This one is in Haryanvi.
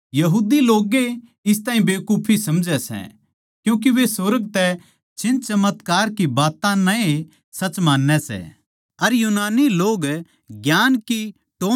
यहूदी लोग ए इस ताहीं बेकुफी समझै सै क्यूँके वे सुर्ग तै चिन्हचमत्कार की बात्तां नै ए सच मान्नै सै अर यूनानी लोग ज्ञान की टोह् म्ह रहवैं सै